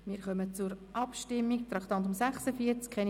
Wir kommen zur Abstimmung zu Traktandum 46: